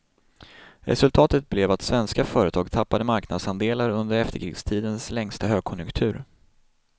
Resultatet blev att svenska företag tappade marknadsandelar under efterkrigstidens längsta högkonjunktur.